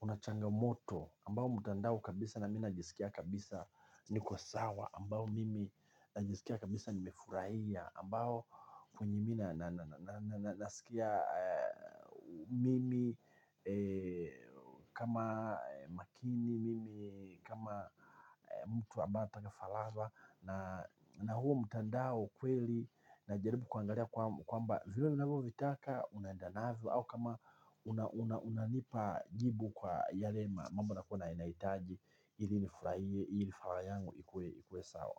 unachangamoto ambao mtandao kabisa na mimi najiskia kabisa niko sawa ambao mimi najiskia kabisa nimefurahia ambao venye mimi naskia mimi kama makini kama mtu anataka faraja na huu mtandao kweli najaribu kuangalia kwamba vile ninavyo vitaka unaenda navyo au kama unanipa jibu kwa yale mambo nakua nahitaji ili nifurahie ili furaha yangu ikue sawa.